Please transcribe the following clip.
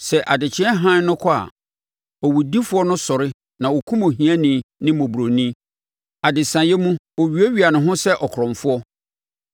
Sɛ adekyeɛ hann no kɔ a, owudifoɔ no sɔre na ɔkum ohiani ne mmɔborɔni; adesaeɛ mu, ɔwiawia ne ho sɛ ɔkorɔmfoɔ.